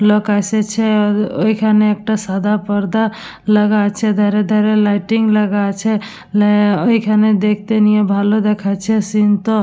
লোক এসেছে। ওখানে একটা সাদা পর্দা লাগা আছে। দ্বারে দ্বারে লাইটিং লাগা আছে। না ওখানে দেখতে নিয়ে ভালো দেখাচ্ছে সিন্ টো--